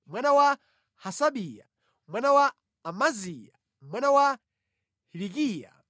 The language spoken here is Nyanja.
mwana wa Hasabiya, mwana wa Amaziya, mwana wa Hilikiya,